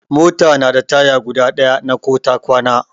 Mota na da taya guda ɗaya na ko ta kwana.